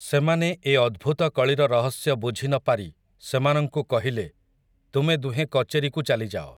ସେମାନେ ଏ ଅଦ୍ଭୁତ କଳିର ରହସ୍ୟ ବୁଝି ନ ପାରି ସେମାନଙ୍କୁ କହିଲେ, ତୁମେ ଦୁହେଁ କଚେରିକୁ ଚାଲିଯାଅ ।